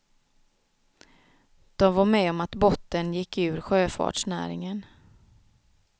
De var med om att bottnen gick ur sjöfartsnäringen.